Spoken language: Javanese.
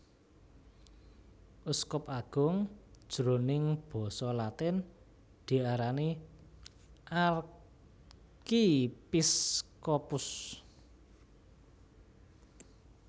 Uskup agung jroning Basa Latin diarani Archiepiscopus